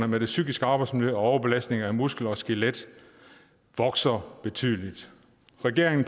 med det psykiske arbejdsmiljø og overbelastninger af muskel og skelet vokser betydeligt regeringen